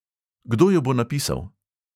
Kdo jo bo napisal?